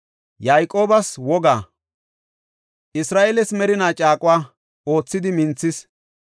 Yayqoobas wogaa, Isra7eeles merinaa caaquwa, oothidi minthis.